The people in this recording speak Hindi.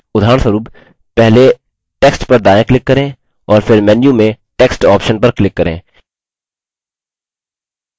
उदाहरणस्वरूप पहले text पर दायाँ click करें और फिर menu में text option पर click करें